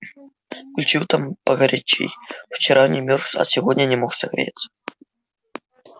включил там погорячей вчера не мёрз а сегодня не мог согреться